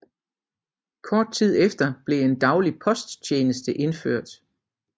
Kort tid efter blev en daglig posttjeneste indført